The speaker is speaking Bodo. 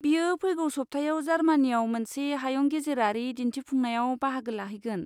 बियो फैगौ सप्तायाव जार्मानिआव मोनसे हायुंगेजेरारि दिन्थिफुंनायाव बाहागो लाहैगोन।